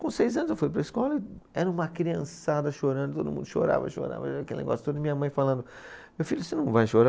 Com seis anos eu fui para a escola, era uma criançada chorando, todo mundo chorava, chorava, e aquele negócio todo, e minha mãe falando, meu filho, você não vai chorar?